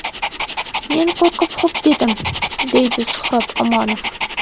Men qo‘rqib xo‘p dedim, deydi Suhrob Omonov.